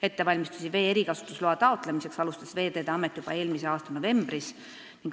Ettevalmistusi vee erikasutusloa taotlemiseks alustas Veeteede Amet juba eelmise aasta novembris.